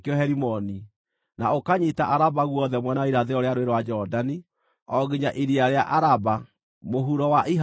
na ũkanyiita Araba guothe mwena wa irathĩro rĩa Rũũĩ rwa Jorodani, o nginya iria rĩa Araba, mũhuro wa iharũrũka cia Pisiga.